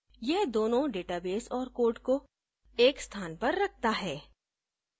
यह दोनों database और code को एक स्थान पर रखता है